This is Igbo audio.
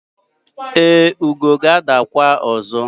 e, ugo ga-adakwa ọzọ